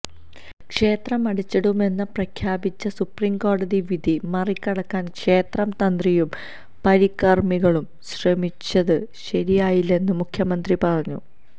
ക്ഷേത്രം അടച്ചിടുമെന്ന് പ്രഖ്യാപിച്ച് സുപ്രീംകോടതി വിധി മറികടക്കാൻ ക്ഷേത്രം തന്ത്രിയും പരികർമ്മികളും ശ്രമിച്ചത് ശരിയായില്ലെന്നും മുഖ്യമന്ത്രി പറഞ്ഞു